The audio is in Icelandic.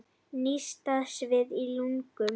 Nístandi sviði í lungunum.